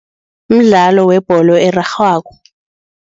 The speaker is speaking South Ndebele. Mdlalo webholo erarhwako.